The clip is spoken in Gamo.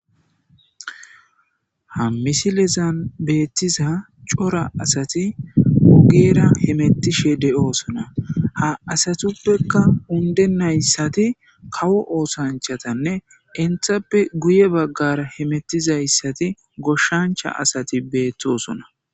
Ha misilezan beetiza cora asati ogera hametishe de'osona ha asatupeka undenaysati kawo oosanchane entape guye bagara hemetizaysi goshancha asati beetosona.